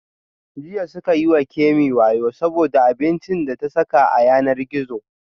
Jiya suka yi wa Kemi wayo saboda abincin da ta saka a yanar gizo